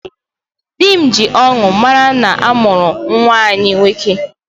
Di m ji ọṅụ mara na a mụrụ nwa anyị nwoke